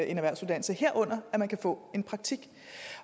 en erhvervsuddannelse herunder at man kan få en praktik